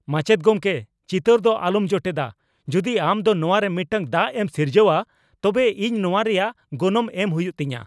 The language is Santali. ᱢᱟᱪᱮᱫ ᱜᱚᱢᱠᱮ, ᱪᱤᱛᱟᱹᱨ ᱫᱚ ᱟᱞᱚᱢ ᱡᱚᱴᱮᱫᱟ ! ᱡᱩᱫᱤ ᱟᱢ ᱫᱚ ᱱᱚᱣᱟᱨᱮ ᱢᱤᱫᱴᱟᱝ ᱫᱟᱜ ᱮᱢ ᱥᱤᱨᱡᱟᱹᱣᱼᱟ ᱛᱚᱵᱮ ᱤᱧ ᱱᱚᱣᱟ ᱨᱮᱭᱟᱜ ᱜᱚᱱᱚᱝ ᱮᱢ ᱦᱩᱭᱩᱜ ᱛᱤᱧᱟ ᱾